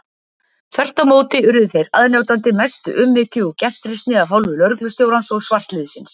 Þvert á móti urðu þeir aðnjótandi mestu umhyggju og gestrisni af hálfu lögreglustjórans og svartliðsins.